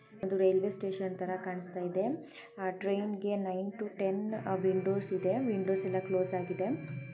Railway station ತರ ಕಾಣ್ಸ್ತಇದೆ ಆ ಟ್ರೈನ್ಗೆ ನೈನ್ ಟು ಟೆನ್ ವಿಂಡೋಸ್ ಇದೆ ವಿಂಡೋಸ್ ಎಲ್ಲಾ ಕ್ಲೋಸ್ ಆಗಿದೆ.